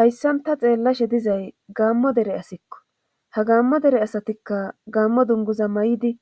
Hayssanta xeellashe dizay gaammo dere asikko ha gaammo dere asatikka gaammo dunguza may7idi